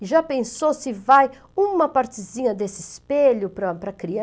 E já pensou se vai uma partezinha desse espelho para, para criar?